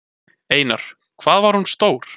Einar: Hvað var hún stór?